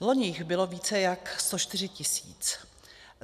Loni jich bylo více jak 104 tisíc.